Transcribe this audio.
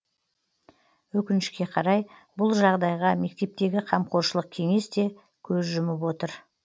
өкінішке қарай бұл жағдайға мектептегі қамқоршылық кеңес те көз жұмып отыр